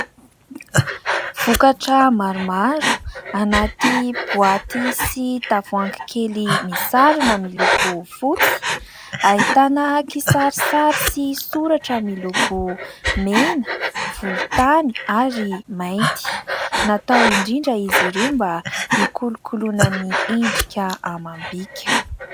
Vokatra maromaro anaty boaty sy tavoahangy kely misarona miloko fotsy ahitana kisarisary sy soratra miloko mena, volontany ary mainty. Natao indrindra izy ireo mba hikolokoloina ny endrika amam-bika.